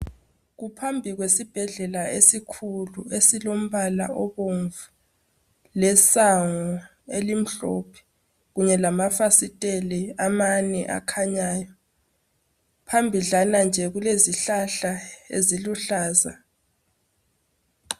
Kuphambili kwesibhedlela esikhulu esilombala obomvu lesango elimhlophe kunye lamafasiteli amanye akhanyayo phambidlana nje kulezihlahla eziluhlaza.